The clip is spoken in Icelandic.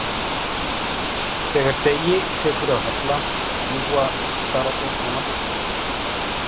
Þegar degi tekur að halla fljúga stararnir á náttstað sinn.